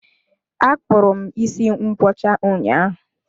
Akpụrụ m isi ngwọcha ụnyaahụ.